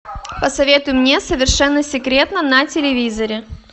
посоветуй мне совершенно секретно на телевизоре